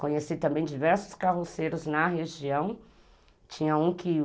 Conheci também diversos carroceiros na região, tinha um que o...